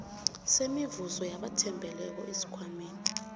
semivuzo yabathembeleko esikhwameni